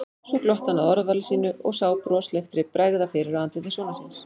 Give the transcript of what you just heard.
Svo glotti hann að orðavali sínu og sá brosleiftri bregða fyrir á andliti sonar síns.